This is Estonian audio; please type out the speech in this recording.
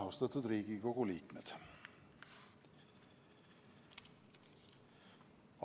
Austatud Riigikogu liikmed!